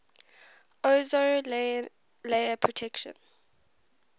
ozone layer protection